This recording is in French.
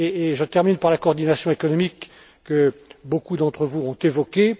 Je termine par la coordination économique que beaucoup d'entre vous ont évoquée.